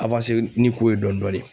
ni ko ye dɔɔnin dɔɔnin.